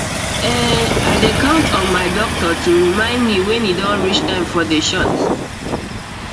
ehn i dey count on my doctor to remind me wen e don reach time for the shot